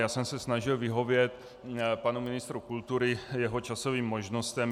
Já jsem se snažil vyhovět panu ministrovi kultury, jeho časovým možnostem.